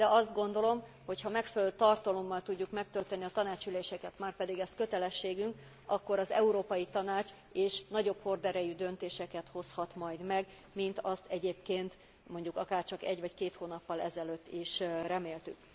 De azt gondolom, hogyha megfelelő tartalommal tudjuk megtölteni a tanácsi üléseket, márpedig ez kötelességünk, akkor az Európai Tanács is nagyobb horderejű döntéseket hozhat majd meg, mint azt egyébként, mondjuk akár csak egy vagy két hónappal ezelőtt is reméltük.